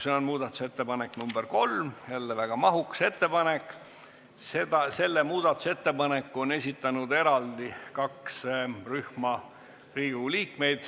See on ettepanek nr 3, jälle väga mahukas ja selle on esitanud eraldi kaks rühma Riigikogu liikmeid.